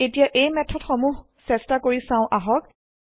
এতিয়া এই মেঠদ সমূহ চেষ্টা কৰি চাও আহক